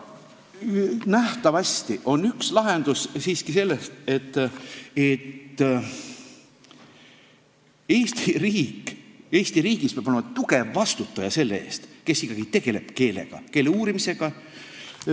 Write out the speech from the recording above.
Nähtavasti on üks lahendus siiski see, et Eesti riigis peab olema tugev vastutaja, kes ikkagi tegeleb keelega, keele uurimisega.